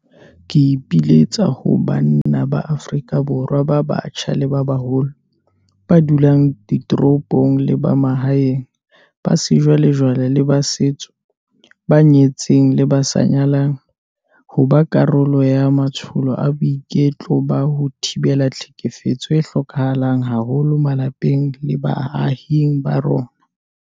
Ke ipiletsa ho banna ba Afrika Borwa ba batjha le ba baholo, ba dulang ditoropong le ba mahaeng, ba sejwalejwale le ba setso, ba nyetseng le ba sa nyalang, ho ba karolo ya matsholo a boiteko ba ho thibela tlhekefetso a hlokehang haholo malapeng le baahing ba rona.